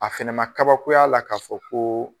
A fɛnɛ ma kabakoya la ka fɔ ko